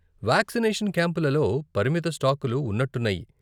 Vaccination క్యాంపులలో పరిమిత స్టాకులు ఉన్నట్టున్నాయి.